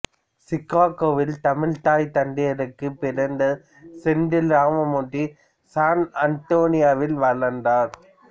சிக்காகோவில் தமிழ் தாய் தந்தையருக்குப் பிறந்த செந்தில் ராமமூர்த்தி சான் அன்டோனியோவில் வளர்ந்தார்